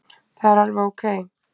Það er alveg ókei.